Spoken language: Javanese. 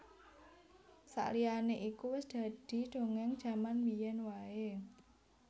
Saliyane iku wis dadi dongeng jaman biyen wae